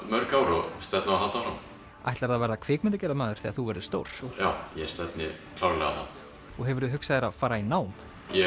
mörg ár og stefni á að halda áfram ætlarðu að verða kvikmyndagerðarmaður þegar þú verður stór já ég stefni klárlega á það og hefurðu hugsað þér að fara í nám ég